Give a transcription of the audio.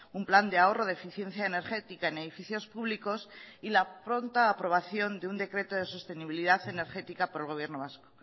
un plan de ahorro de eficiencia energética en edificios públicos y la pronta aprobación de un decreto de sostenibilidad energética por el gobierno vasco